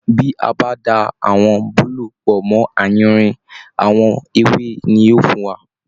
Bí a bá da àwọn búlúù pọ̀ mọ́ àyìnrín, àwọn ewé ni yóò fún wa